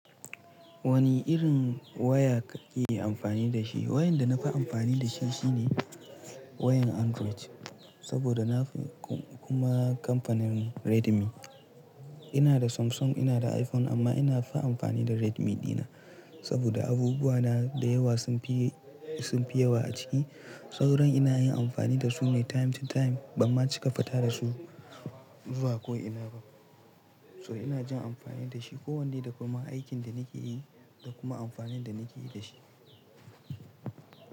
Wani irin waya ka ke amfani da shi? Wayan da na fi amfani da shi shine wayan Android, saboda na fi kuma kamfanin Redmi. Ina da Samsung, ina da iPhone amma ina fi amfani da Redmi dina saboda abubuwa na da yawa sun fi, sun fi yawa a ciki. Sauran ina yin amfani da su ne time to time, banma cika fita da su zuwa ko'ina ba. So ina jin amfani da shi ko wanda kuma aikin da nake yi da kuma amfani da nake yi da shi.